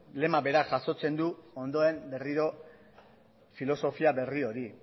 lema berak jasotzen du ondoen berriro filosofia berri hori